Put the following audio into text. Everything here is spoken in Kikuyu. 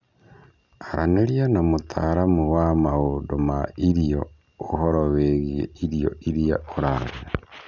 Aranĩria na mũtaramu wa maundũ ma irio ũhoro wĩgiĩ irio iria ũrarĩa.